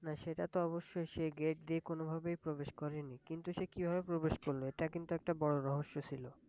হ্যাঁ! সেটা তো অবশ্যই, সে Gate দিয়ে কোনোভাবেই প্রবেশ করেনি। কিন্তু সে কিভাবে প্রবেশ করল, এটা কিন্তু একটা বড় রহস্য ছিল!